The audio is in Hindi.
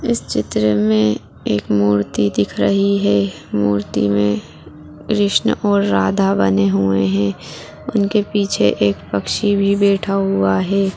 इस चित्र में एक मूर्ति दिख रही है मूर्ति में कृष्ण और राधा बने हुए है उनके पीछे एक पक्षी भी बैठा हुआ है।